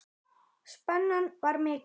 Spennan var mikil.